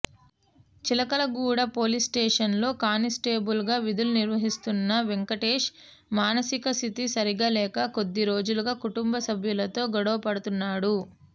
చిలకలగూడ పోలీస్స్టేషన్లో కానిస్టేబుల్గా విధులు నిర్వహిస్తున్న వెంకటేశ్ మానసిక స్థితి సరిగా లేక కొద్దిరోజులుగా కుంటుంబ సభ్యులతో గొడవ పడుతున్నాడు